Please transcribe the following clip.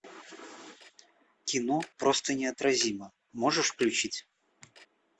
кино просто неотразима можешь включить